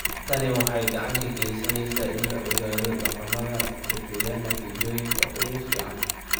Tani waxay gacan ka geysaneysaa in la ogaado dhaqamada bixiya natiijooyinka ugu fiican.